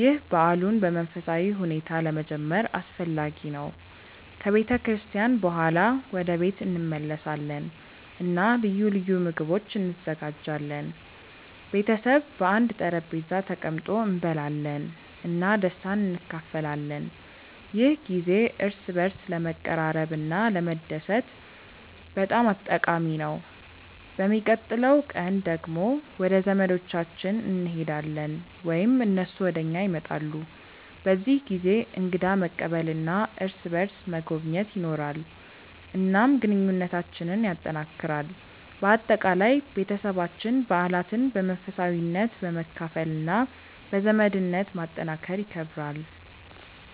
ይህ በዓሉን በመንፈሳዊ ሁኔታ ለመጀመር አስፈላጊ ነው። ከቤተ ክርስቲያን በኋላ ወደ ቤት እንመለሳለን እና ልዩ ልዩ ምግቦች እንዘጋጃለን። ቤተሰብ በአንድ ጠረጴዛ ተቀምጦ እንበላለን እና ደስታን እንካፈላለን። ይህ ጊዜ እርስ በርስ ለመቀራረብ እና ለመደሰት በጣም ጠቃሚ ነው። በሚቀጥለው ቀን ደግሞ ወደ ዘመዶቻችን እንሄዳለን ወይም እነሱ ወደ እኛ ይመጣሉ። በዚህ ጊዜ እንግዳ መቀበል እና እርስ በርስ መጎብኘት ይኖራል፣ እናም ግንኙነታችንን ያጠናክራል። በአጠቃላይ፣ ቤተሰባችን በዓላትን በመንፈሳዊነት፣ በመካፈል እና በዘመድነት ማጠናከር ይከብራል።